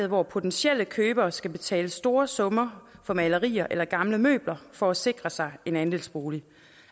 hvor potentielle købere skal betale store summer for malerier eller gamle møbler for at sikre sig en andelsbolig